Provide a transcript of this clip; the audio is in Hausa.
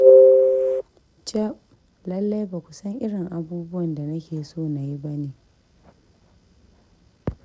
Caf! Lallai ba ku san irin abubuwan da nake so na yi ba ne.